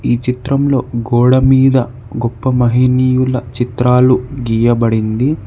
ఈ చిత్రంలో గోడమీద గొప్ప మహినీయుల చిత్రాలు గీయబడింది.